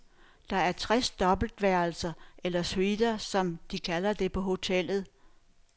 Der er tres dobbeltværelser, eller suiter som de kalder det på hotellet.